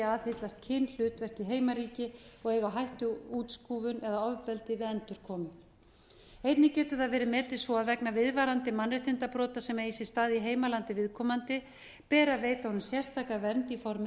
aðhyllast kynhlutverk í heimaríki og eiga á hættu útskúfun eða ofbeldi við endurkomu einnig getur það verið metið svo að vegna viðvarandi mannréttindabrota sem eigi sér stað í heimalandi viðkomandi beri að veita honum sérstaka vernd í formi dvalarleyfis